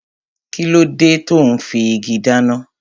Kíló dé tò ún fi igi dáná?